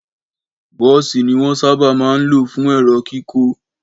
Bọ́ọ̀sì ni wón sábà ń lò fún èrò kíkó